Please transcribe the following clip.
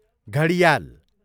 घडियाल